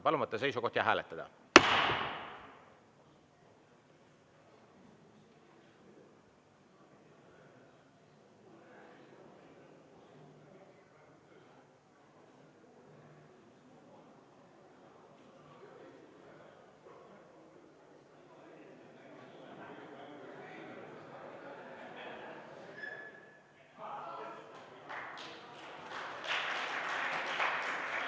Palun võtta seisukoht ja hääletada!